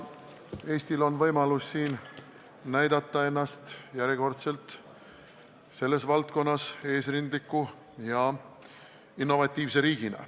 Eestil on siin järjekordselt võimalus näidata ennast selles valdkonnas eesrindliku ja innovatiivse riigina.